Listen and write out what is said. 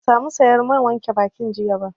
Ban sa mu sayar man wanke bakin jiya ba